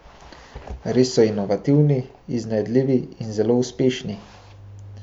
Res so inovativni, iznajdljivi in zato uspešni.